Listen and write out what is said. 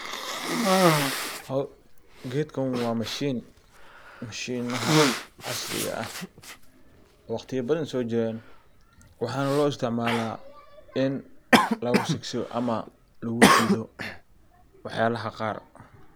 Gedkan waa mashin, mashinaha casriiga ah waxana loo isticmala ini lagu shigshido wax yalaha qaar.